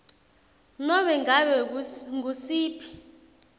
nobe ngabe ngusiphi